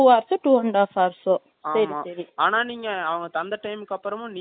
ஆனா நீங்க அவங்க தந்த time அப்பறம் நீங்க late அ போனீங்க அதுக்கு அவங்க response